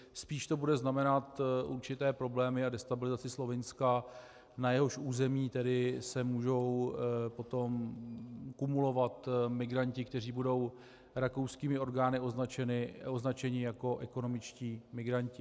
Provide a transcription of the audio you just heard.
Spíš to bude znamenat určité problémy a destabilizaci Slovinska, na jehož území tedy se mohou potom kumulovat migranti, kteří budou rakouskými orgány označeni jako ekonomičtí migranti.